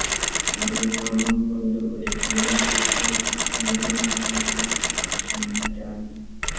ഒരു നാമം കൊണ്ട് ഒരു ക്രിയ ആവിഷ്കരിച്ച സങ്കീർണ്ണ നാമങ്ങൾ പുരുഷന്മാരാണ്